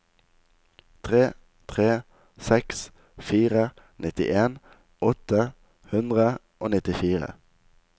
tre tre seks fire nittien åtte hundre og nittifire